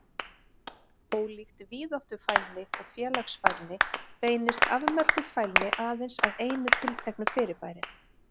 Ólíkt víðáttufælni og félagsfælni beinist afmörkuð fælni aðeins að einu tilteknu fyrirbæri.